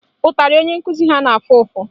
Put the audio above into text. Ụtarị onye nkụzi ha na-afụ ụfụ